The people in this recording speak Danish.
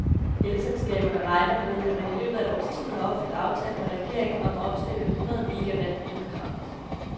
Elselskaberne regner med, at man i løbet af et års tid har opfyldt aftalen med regeringen om at opstille et hundrede megawatt vindkraft.